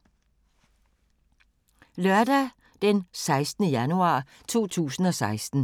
Lørdag d. 16. januar 2016